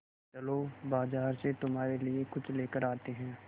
चलो बाज़ार से तुम्हारे लिए कुछ लेकर आते हैं